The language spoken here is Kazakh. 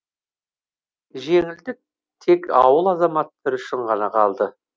жеңілдік тек ауыл азаматтары үшін ғана қалды